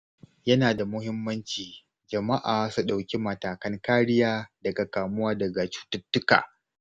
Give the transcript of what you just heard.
Yana da muhimmanci jama'a su ɗauki matakan kariya daga kamuwa da cututtuka.